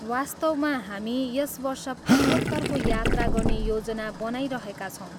वास्तवमा, हामी यस वर्ष पूर्वोत्तरको यात्रा गर्ने योजना बनाइरहेका छौँ।